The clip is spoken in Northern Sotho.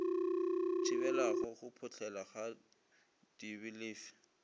thibelago go phohlela ga dibelefe